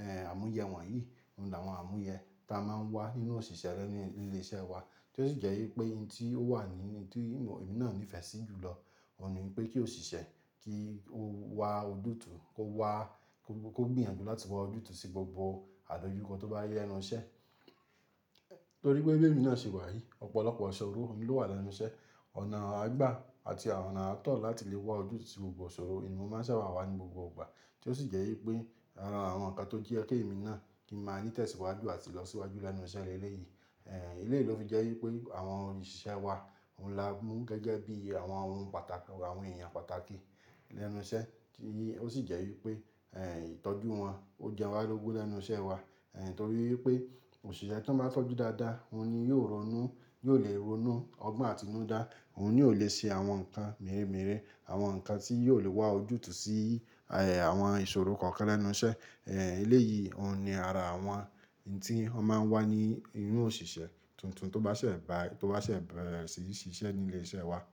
ẹ́ẹ́, àmúyẹ wọ̀nyí ni àwọn àmúyẹ ta máa ń wà nínú òṣìṣẹ́ rẹ ní ilé iṣẹ́ wa tí ó sì jẹ́ wípé ohun tí ó wà nínú tí èmi náà nífẹ̀ẹ́ sí jù lọ, òun ni wípé kí òṣìṣẹ́ kí ó wá ojútùú kó wá, kó gbìyànjú láti wá ojútùú sí gbogbo àdójúkọ tó bá yá nínú iṣẹ́. Nítorí pé bé mi náà ṣì wà yìí, ọ̀pọ̀lọpọ̀ ìṣòro ló wà lẹ́nu iṣẹ́, ọ̀nà àgbà àti ọ̀nà atọ̀ láti lè wá ojútùú sí gbogbo ìṣòro ni mo máa ń ṣàwàwà ní gbogbo ìgbà tí ó sì jẹ́ wípé àwọn ǹkan tó jí ẹkẹ́ mi náà kí i máa ní tẹ̀síwájú àti lọ síwájú lẹ́nu iṣẹ́ ilé yìí. Ẹ̀ẹ́, ilé yìí ló fi jẹ́ wípé àwọn òṣìṣẹ́ wa òun la mú gẹ́gẹ́ bí àwọn ohun pàtàkì, àwọn èèyàn pàtàkì lẹ́nu iṣẹ́ kí i ó sì jẹ́ wípé, ẹ́ẹ́, ìtọ́jú wọn ó jẹ́ ọ̀wọ́ lógun lẹ́nu iṣẹ́ wa. Ẹ̀ẹ́, nítorí pé òṣìṣẹ́ tí wọ́n bá tọ́jú dáadáa, òun ni yóò ronú, yóò lè ronú ọgbọ́n àtinúdá, òun ni yóò lè ṣe àwọn nǹkan mìírèmíìré, àwọn nǹkan tí yóò lè wá ojútùú sí, ẹ́ẹ́, àwọn ìṣòro kọ̀ọ̀kan lẹ́nu iṣẹ́. Ẹ̀ẹ́, eléyìí òun ni ara àwọn ohun tí wọ́n máa ń wà ní inú òṣìṣẹ́ tuntun tó bá ṣẹ̀, bá tó bá ṣẹ̀, bẹ́ẹ̀re sì ṣiṣẹ́ ní ilé iṣẹ́ wa.